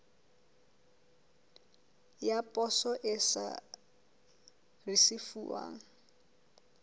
ya poso e sa risefuwang